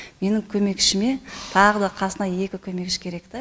менің көмекшіме тағы да қасына екі көмекші керек та